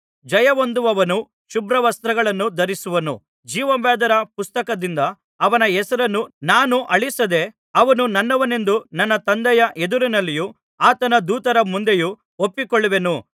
ಜಯಹೊಂದುವವನು ಶುಭ್ರವಸ್ತ್ರಗಳನ್ನು ಧರಿಸುವನು ಜೀವಬಾಧ್ಯರ ಪುಸ್ತಕದಿಂದ ಅವನ ಹೆಸರನ್ನು ನಾನು ಅಳಿಸದೆ ಅವನು ನನ್ನವನೆಂದು ನನ್ನ ತಂದೆಯ ಎದುರಿನಲ್ಲಿಯೂ ಆತನ ದೂತರ ಮುಂದೆಯೂ ಒಪ್ಪಿಕೊಳ್ಳುವೆನು